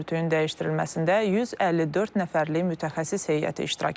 Örtüyün dəyişdirilməsində 154 nəfərlik mütəxəssis heyəti iştirak eləyib.